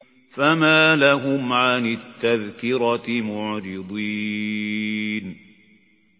فَمَا لَهُمْ عَنِ التَّذْكِرَةِ مُعْرِضِينَ